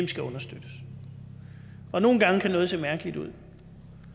skal understøttes og nogle gange kan noget se mærkeligt ud